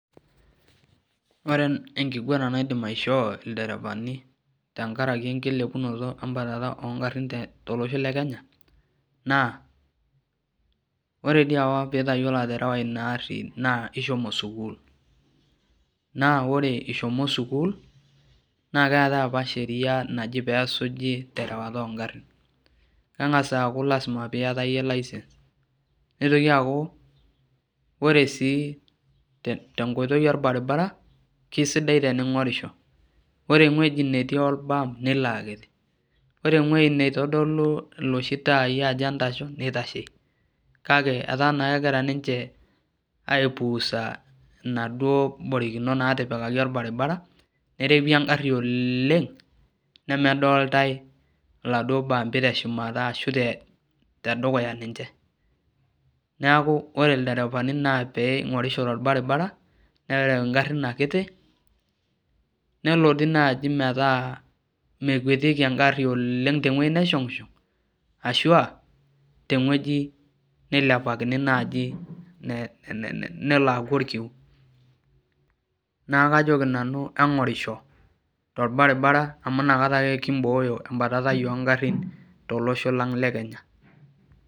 Ore enkiguana naidim aishoo ilderevani tenkaraki enkilepata embatata oogarin tolosho le kenya naa ore diii apa peitayiolo aterewa ina aari naa ishomo sukul naa ore ishomo sukuul naakeetai apa sheria naji peesuji terewata oongarin neng'as aaku lazima piata iyie license neitoki aaku ore sii tenkoitoi orbaribara keisidai teni'orisho ore ewueji netii orbam nelo aakiti ore ewueji neitodolu iloshi taayii ajo entasho neitashe kake etaa naa kegira ninche aipuusa inaduo borikinot naatipikaki orbaribara nerewi engari ooleng nemedooltai iladuo baambi teshumata ashu tedukuya ninche neeku ore ilderevani naa peing'orisho torbaribara nereu ingarin akiti nelo sii naaji metaa mekuetieki engari oleng tewueji neshong'ishong ashua tewueji neilepakini naaji neleaaku orkiu naakoji nanu eng'orisho torbaribara amu inakata ake kimbooyo embatatai oongarin tolosho lang le kenya.